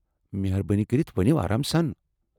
مہربٲنی کٔرتھ ؤنو آرام سان۔